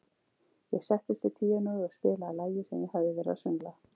Ég settist við píanóið og spilaði lagið sem ég hafði verið að söngla.